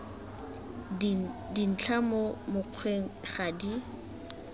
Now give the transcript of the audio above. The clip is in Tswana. dintlha mo mokgweng ga di